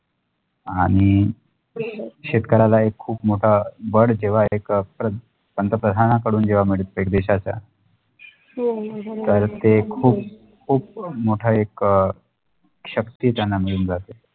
आणि शेतकऱ्याला एक खुप मोठा बळ जेव्हा एक पंतप्रधानांकडून जेव्हा मिळते एक दिशाच तर ते खुप खुप मोठा एक शक्तीचा नाम घेऊन जाते